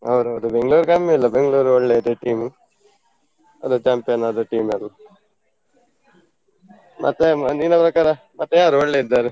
ಹೌದೌದು . Bengaluru ಕಮ್ಮಿ ಇಲ್ಲ Bengaluru ಒಳ್ಳೆ ಇದೆ team ಅದೆ champion ಆದ team ಅದು. ಮತ್ತೆ ನಿನ್ನ ಪ್ರಕಾರ ಮತ್ತೆ ಯಾರು ಒಳ್ಳೆ ಇದ್ದಾರೆ.